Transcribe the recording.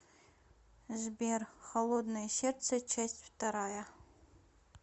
сбер холодное сердце часть вторая